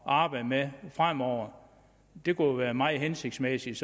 arbejde med fremover det kunne være meget hensigtsmæssigt